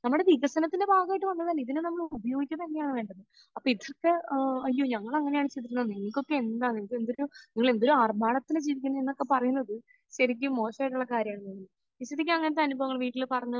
നമ്മുടെ വികസനത്തിന്റെ ഭാഗമായിട്ട് വന്നതല്ലേ? ഇതെല്ലാം നമ്മൾ ഉപയോഗിക്കുക തന്നെയാണ് വേണ്ടത്. അപ്പോൾ ഏഹ് അയ്യോ, ഞങ്ങൾ അങ്ങനെയാണ് നിങ്ങൾക്കൊക്കെ എന്താ നിങ്ങൾക്ക് എന്തൊരു നീ എന്തൊരു ആർഭാടത്തിലാണ് ജീവിക്കുന്നത് എന്നൊക്കെ പറയുന്നത് ശരിക്കും മോശമായിട്ടുള്ള കാര്യമാണ്. നിഷിദക്ക് അങ്ങനത്തെ അനുഭവങ്ങൾ വീട്ടിൽ പറഞ്ഞ്